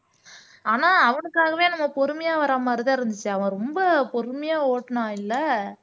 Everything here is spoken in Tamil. ஆனா அவனுக்காகவே நம்ம பொறுமையா வர்ற மாரிதான் இருந்துச்சு அவன் ரொம்ப பொறுமையா ஓட்டுனான் இல்ல